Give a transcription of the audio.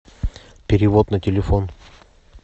перевод на телефон